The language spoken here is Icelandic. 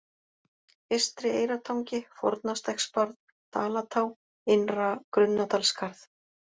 Eystri-Eyrartangi, Fornastekksbarð, Dalatá, Innra-Grunnadalsskarð